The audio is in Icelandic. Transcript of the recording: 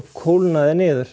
kólna þeir niður